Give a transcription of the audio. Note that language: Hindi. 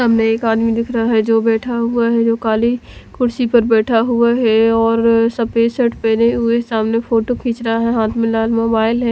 एक आदमी दिख रहा है जो बैठा हुआ है जो काली कुर्सी पर बैठा हुआ है और सफेद शर्ट पहने हुए सामने फोटो खींच रहा है हाथ में मोबाइल है।